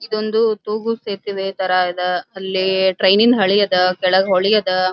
ಇದೊಂದು ತೂಗು ಸೇತುವೆ ತರ ಇದ ಅಲ್ಲಿ ಟ್ರೈನಿನ ಹಳಿ ಅದ ಕೆಳಗ್ ಹೋಳಿ ಅದ --